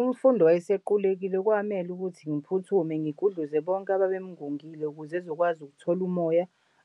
Umfundi owayesequlekile kwamele ukuthi ngiphuthume ngigudluze bonke ababemngungile ukuze ezokwazi ukuthol'umoya